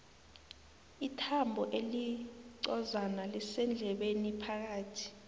ithambo elincozana lisendlebeni phakathi